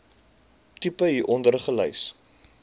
tipe hieronder gelys